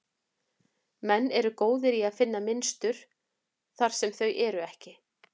Menn eru góðir í að finna mynstur þar sem þau eru ekki.